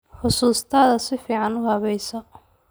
Xasuustaada si fiican u habayso.